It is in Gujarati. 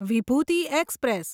વિભૂતિ એક્સપ્રેસ